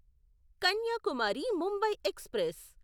Kanyakumari Mumbai express